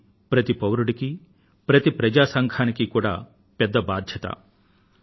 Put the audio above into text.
ఇది ప్రతి పౌరుడికి ప్రతి ప్రజా సంఘానికి కూడా పెద్ద బాధ్యత